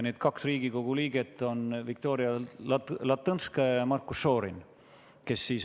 Need kaks Riigikogu liiget, kes on lähikontaktsed, on Viktoria Ladõnskaja-Kubits ja Marko Šorin.